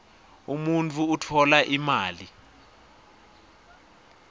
umuntfu utfola imali